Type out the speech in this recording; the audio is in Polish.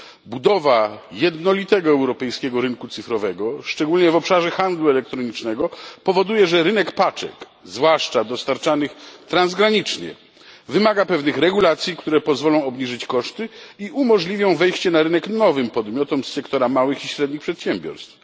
Budowa jednolitego europejskiego rynku cyfrowego, szczególnie w obszarze handlu elektronicznego, powoduje, że rynek paczek, zwłaszcza dostarczanych transgranicznie, wymaga pewnych regulacji, które pozwolą obniżyć koszty i umożliwią wejście na rynek nowym podmiotom z sektora małych i średnich przedsiębiorstw.